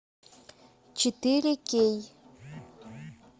четыре кей